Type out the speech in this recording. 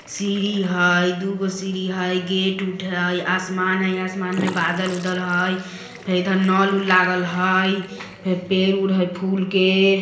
सीढ़ी हय दु गो सीढ़ी हय गेट उट हय आसमान हय आसमान में बादल उदल हय फेर इधर नल-उल लागल हय फेर पेड़-उड़ हय फूल के।